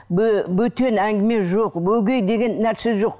бөтен әңгіме жоқ өгей деген нәрсе жоқ